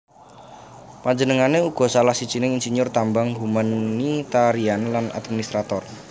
Panjenengané uga salah sijining insinyur tambang humanitarian lan administrator